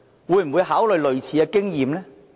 會否考慮類似經驗？